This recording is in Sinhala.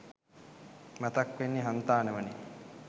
මතක් වෙන්නෙ හන්තානමනේ.